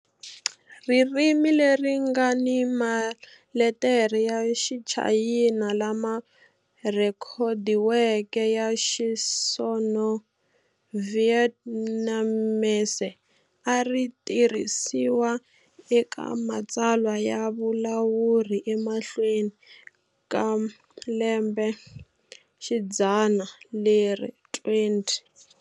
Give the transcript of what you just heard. Ririmi leri nga ni maletere ya Xichayina lama rhekhodiweke ya Xisino-Vietnamese a ri tirhisiwa eka matsalwa ya vulawuri emahlweni ka lembexidzana leri 20.